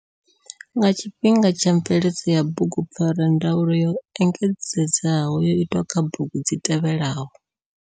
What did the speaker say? Nga tshifhinga tsha mveledzo ya bugupfarwa, ndaulo yo engedzedzaho yo itwa kha bugu dzi tevhelaho.